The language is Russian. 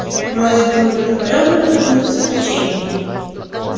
вроде бы удовлетворённо но почему-то с огорчением